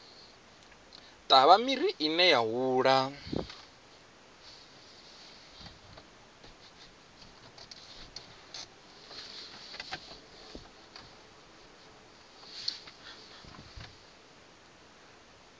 ṱavha miri ine ya hula